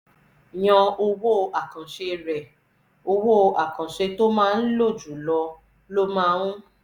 yan owó àkànṣe rẹ: owó àkànṣe tó o máa ń lò jù lọ ló máa ń